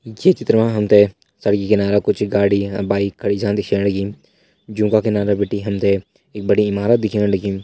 ये चित्र मा हम तें सड़की किनारा कुछ गाड़ी बाइक जन दिखेण लगीं जों का किनारा बिटि हम तें एक बड़ी इमारत दिखेण लगीं।